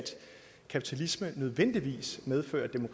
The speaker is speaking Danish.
nødvendig